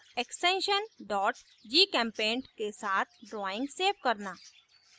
extension gchempaint के साथ drawing save करना